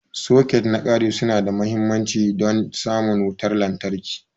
Soket na ƙari su na da mahimmanci don samun wutar lantarki.